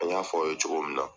An y'a fɔ aw ye cogo min na.